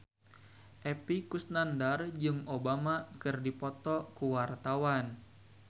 Epy Kusnandar jeung Obama keur dipoto ku wartawan